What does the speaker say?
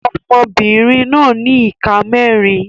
Ọmọbìnrin náà ní ìka mẹ́rin.